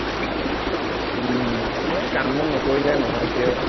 উম এৰ কাম বন নকৰিলে নহৈছে ঔ